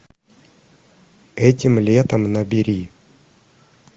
этим летом набери